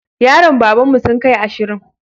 Yaran babanmu sun kai ashirin